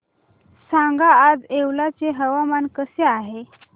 सांगा आज येवला चे हवामान कसे आहे